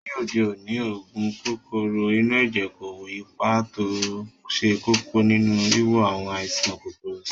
Ní òde òní, oògùn kòkòrò inú ẹ̀jẹ̀ kó ipa tó ṣe kókó nínú wíwo àwọn àìsàn kòkòrò sàn